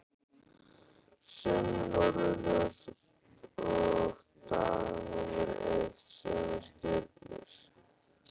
Sömu norðurljós og dag númer eitt, sömu stjörnur.